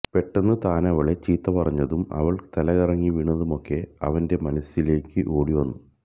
പെട്ടെന്ന് താനവളെ ചീത്ത പറഞ്ഞതും അവൾ തലകറങ്ങി വീണതുമൊക്കെ അവന്റ മനസ്സിലെ ക്ക് ഓടി വന്നു